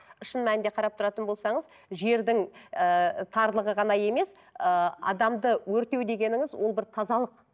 шын мәнінде қарап тұратын болсаңыз жердің ыыы тарлығы ғана емес ыыы адамды өртеу дегеніңіз ол бір тазалық